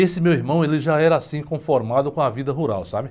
Esse meu irmão já era assim conformado com a vida rural, sabe?